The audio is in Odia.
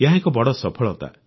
ଏହା ଏକ ବଡ଼ ସଫଳତା